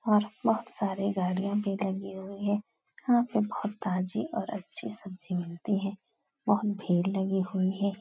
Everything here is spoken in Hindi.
और बोहोत सारी गाड़ियां भी लगी हुई हैं। यहाँ पे बोहोत ताजी और अच्छी सब्जी मिलती है। बोहोत बहो भीड़ लगी हुई है।